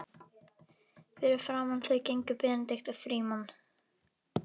Fyrir framan þau gengu Benedikt og Frímann.